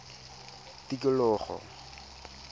tikologo